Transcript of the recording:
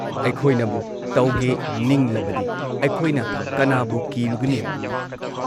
ꯑꯩꯈꯣꯏꯅꯕꯨ ꯇꯧꯒꯦ ꯅꯤꯡꯂꯕꯗꯤ ꯑꯩꯈꯣꯏꯅ ꯀꯅꯥꯕꯨ ꯀꯤꯔꯨꯒꯅꯤ?